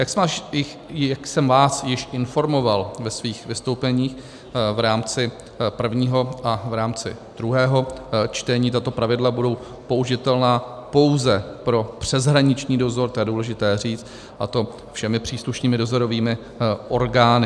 Jak jsem vás již informoval ve svých vystoupeních v rámci prvního a v rámci druhého čtení, tato pravidla budou použitelná pouze pro přeshraniční dozor, to je důležité říct, a to všemi příslušnými dozorovými orgány.